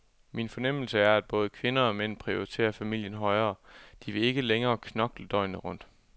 Min fornemmelse er, at både kvinder og mænd prioriterer familien højere, de vil ikke længere knokle døgnet rundt.